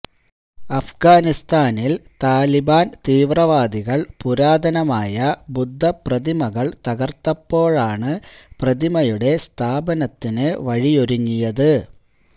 അഫ്ഗാനിസ്ഥാനിൽ താലിബാൻ തീവ്രവാദികൾ പുരാതനമായ ബുദ്ധപ്രതിമകൾ തകർത്തപ്പോഴാണ് പ്രതിമയുടെ സ്ഥാപനത്തിന് വഴിയൊരുങ്ങിയത്